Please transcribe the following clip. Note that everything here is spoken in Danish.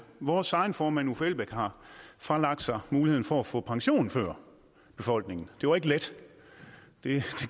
vores egen formand uffe elbæk har fralagt sig muligheden for at få pension før befolkningen det var ikke let det